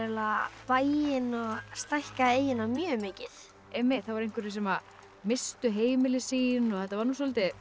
bæinn og stækkaði eyjuna mjög mikið einmitt það voru einhverjir sem misstu heimilin sín þetta var soldið